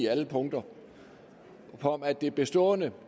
alle punkter for at det bestående